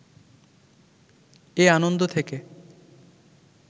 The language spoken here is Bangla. এ আনন্দ থেকে